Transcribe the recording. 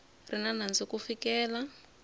ri na nandzu ku fikela